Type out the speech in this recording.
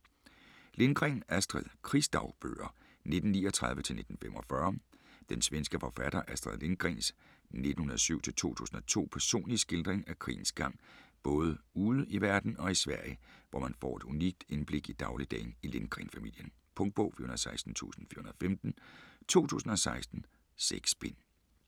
Lindgren, Astrid: Krigsdagbøger 1939-1945 Den svenske forfatter Astrid Lindgrens (1907-2002) personlige skildring af krigens gang både ude i verden og i Sverige, hvor man får et unikt indblik i dagligdagen i Lindgren-familien. Punktbog 416415 2016. 6 bind.